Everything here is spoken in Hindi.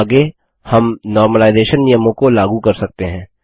आगे हम नॉर्मलाइजेशन सामान्यकरण नियमों को लागू कर सकते हैं